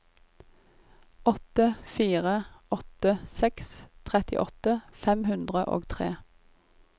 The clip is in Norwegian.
åtte fire åtte seks trettiåtte fem hundre og tre